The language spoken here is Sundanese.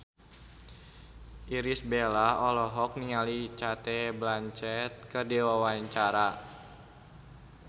Irish Bella olohok ningali Cate Blanchett keur diwawancara